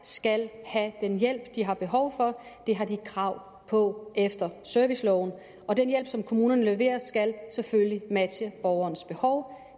skal have den hjælp de har behov for det har de krav på efter serviceloven og den hjælp som kommunerne leverer skal selvfølgelig matche borgerens behov